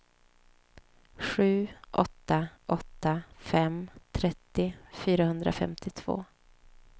sju åtta åtta fem trettio fyrahundrafemtiotvå